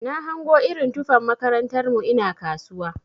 Na hango irin tufan makarantar mu ina kasuwa.